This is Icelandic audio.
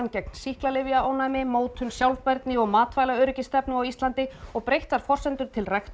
gegn sýklalyfjaónæmi mótun sjálfbærni og matvælastefnu á Íslandi og breyttar forsendur til ræktunar